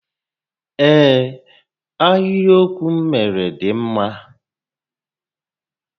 Ee, ahịrịokwu m méré dị mma